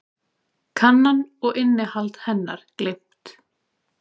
Kannan og innihald hennar gleymt.